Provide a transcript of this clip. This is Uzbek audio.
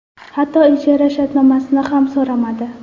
Hatto ijara shartnomasini ham so‘ramadi.